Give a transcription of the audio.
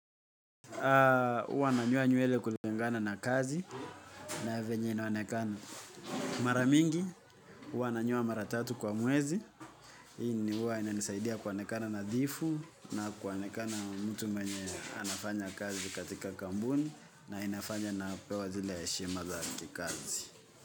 Huwa nanyoa nywele kulingana na kazi na venye inaonekana mara mingi. Huwa nanyoa mara tatu kwa mwezi. Hii ni huwa inanisaidia kuonekana nadhifu. Na kuonekana mtu mwenye anafanya kazi katika kampuni na inafanya napewa zile heshima za kikazi.